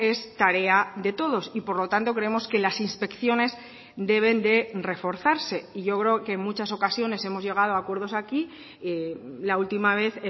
es tarea de todos y por lo tanto creemos que las inspecciones deben de reforzarse y yo creo que en muchas ocasiones hemos llegado a acuerdos aquí la última vez